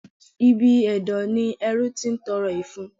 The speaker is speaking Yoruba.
Ibi ẹ̀dọ̀ ni ẹrú ti ń tọrọ ìfun.